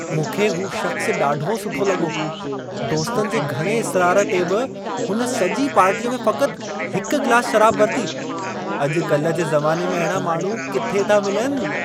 मूंखे हू शख़्स ॾाढो सुठो लॻो। दोस्तनि जे घणे इसरार ते बि हुन सॼी पार्टीअ में फ़क़ति हिकु गिलासु शराबु वरिती। अॼु-कल्ह जे ज़माने में अहिड़ा माण्हू किथे था मिलनि!